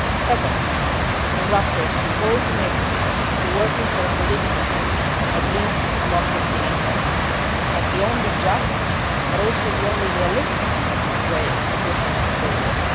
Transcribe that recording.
is key. Second, in Brussels we all committed to work for a political solution agreed among the Syrian parties as the only just but also the only realistic way to end the